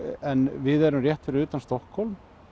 en við erum rétt fyrir utan Stokkhólm